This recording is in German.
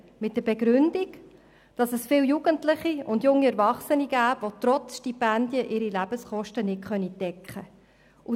Die Begründung lautet, dass es viele Jugendliche und junge Erwachsene gibt, die trotz Stipendien ihre Lebenskosten nicht decken können.